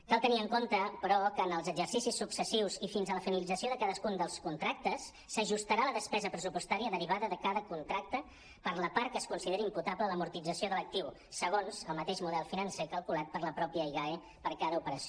cal tenir en compte però que en els exercicis successius i fins a la finalització de cadascun dels contrac·tes s’ajustarà la despesa pressupostària derivada de cada contracte per la part que es consideri imputable a l’amortització de l’actiu segons el mateix model financer cal·culat per la mateixa igae per a cada operació